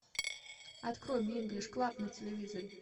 открой мне инглиш клаб на телевизоре